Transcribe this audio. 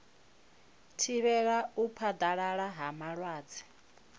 thivhela u phaḓalala ha malwadze